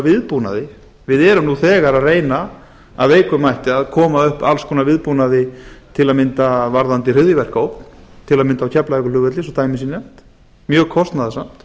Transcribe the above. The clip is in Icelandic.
viðbúnaði við erum nú þegar að reyna af veikum mætti að koma upp alls konar viðbúnaði tam varðandi hryðjuverkaógn til dæmis á keflavíkurflugvelli svo dæmi sé nefnt mjög kostnaðarsamt